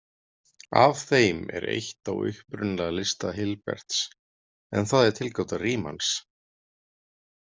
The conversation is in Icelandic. Af þeim er eitt á upprunalega lista Hilberts, en það er tilgáta Riemanns.